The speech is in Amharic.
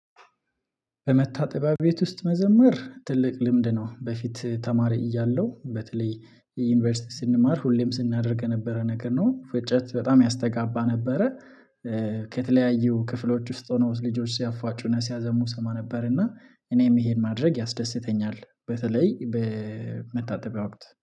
በመታጠቢያ ቤት ውስጥ መዘመር ትልቅ ልምድ ነው። በፊት ተማሪ እያለሁ በተለይ ዩኒቨርሲቲ ስንማር ሁሌም ስናደርግ የነበረ ነገር ነው፤ ፍጨት በጣም ያስተጋባ ነበረ። ከተለያዩ ክፍሎች ውስጥ ሆነው ልጆች ሲያፏጩና ሲያዘሙ ሰማ ነበርና እኔም ይሄን ማድረግ ያስደስተኛል። በተለይ በመታጠቢያ ወቅት